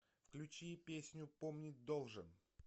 включи песню помнить должен